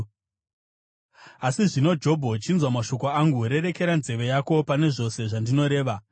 “Asi zvino, Jobho, chinzwa mashoko angu; rerekera nzeve yako pane zvose zvandinoreva.